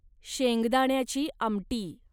शेंगदाण्याची आमटी